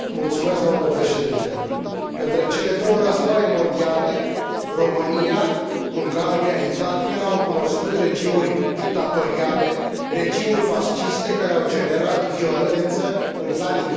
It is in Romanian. Între cele două războaie mondiale, România, Ungaria, Italia au cunoscut regimuri dictatoriale, regimuri fasciste, care au generat violență în plan intern și în plan internațional.